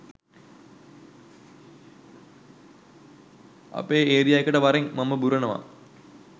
අපේ ඒරියා එකට වරෙන් මම බුරනවා